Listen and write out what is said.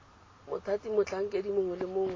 mothati motlhankedi mongwe le mongwe